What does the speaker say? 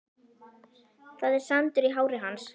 Það er sandur í hári hans.